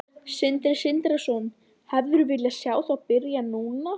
Sindri Sindrason: Hefðirðu viljað sjá það byrja núna?